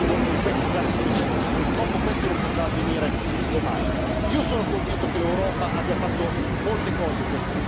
alla Commissione di rispondere su quello che sta succedendo in questi casi specifici. Purtroppo questo non potrà avvenire domani.